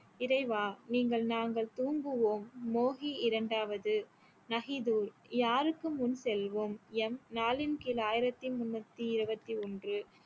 இறைவா நீங்கள் நாங்கள் தூங்குவோம் மோகி இரண்டாவது நஹிது யாருக்கு முன் செல்வோம் எம் நாளின் கீழ் ஆயிரத்தி முன்நூத்தி இருவத்தி ஒன்று